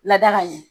Lada ka ɲɛ